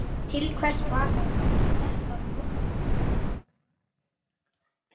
Til hvers er þetta notað?